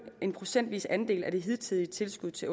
en procentvis andel af det hidtidige tilskud til